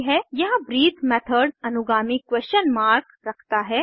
यहाँ breath method अनुगामी question mark question mark रखता है